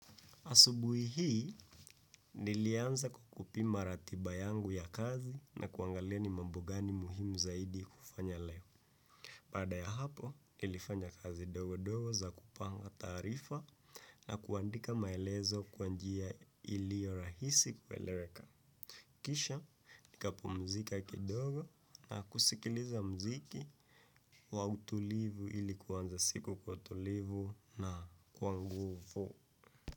Asubuhi hii, nilianza kupima ratiba yangu ya kazi na kuangalia ni mambo gani muhimu zaidi kufanya leo. Baada ya hapo, nilifanya kazi ndogo ndogo za kupanga taarifa na kuandika maelezo kwa njia iliyo rahisi kueleweka. Kisha, nikapumzika kidogo na kusikiliza muziki wa utulivu ili kuanza siku kwa utulivu na kwa nguvu.